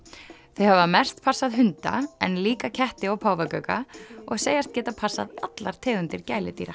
þau hafa mest passað hunda en líka ketti og páfagauka og segjast geta passað allar tegundir gæludýra